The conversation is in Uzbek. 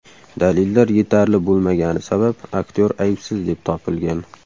Dalillar yetarli bo‘lmagani sabab aktyor aybsiz deb topilgan.